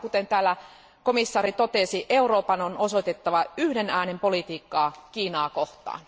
Aivan kuten komission jäsen totesi, Euroopan on osoitettava yhden äänen politiikkaa Kiinaa kohtaan.